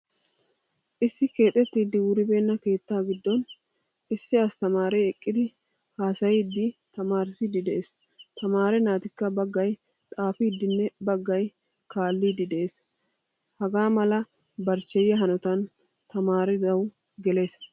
Issi keexettidi wuribena keettaa giddon issi asttamaare eqqidi haasayidi tamaarissidi de'ees. Tamaare naatikka baggaay xaafidinne baggaay kaalidi de'ees. Hagaa mala barchcheyiya hanotan tamaaridawu gelees.